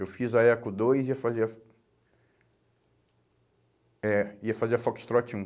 Eu fiz a Eco dois e ia fazer a... É, ia fazer a Foxtrot um.